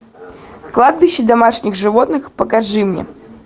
кладбище домашних животных покажи мне